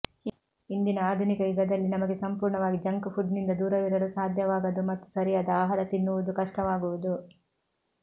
ಇಂದಿನ ಆಧುನಿಕ ಯುಗದಲ್ಲಿ ನಮಗೆ ಸಂಪೂರ್ಣವಾಗಿ ಜಂಕ್ ಫುಡ್ನಿಂದ ದೂರವಿರಲು ಸಾಧ್ಯವಾಗದು ಮತ್ತು ಸರಿಯಾದ ಆಹಾರ ತಿನ್ನುವುದು ಕಷ್ಟವಾಗುವುದು